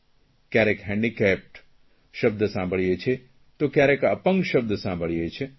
ક્યારેક હેન્ડીકેપ્ડ શબ્દ સાંભળીએ છીએ તો ક્યારેક અપંગ શબ્દ સાંભળીએ છીએ